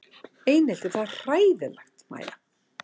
Einelti það er hræðilegt Mæja?